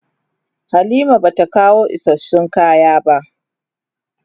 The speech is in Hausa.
Halima bata kawo isassun kaya ba.